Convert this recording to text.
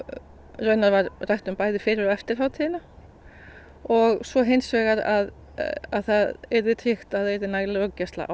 raunar var rætt um bæði fyrir og eftir hátíðina og svo hins vegar að það yrði tryggt að það yrði nægileg löggæsla á